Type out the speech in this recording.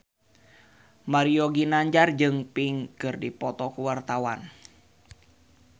Mario Ginanjar jeung Pink keur dipoto ku wartawan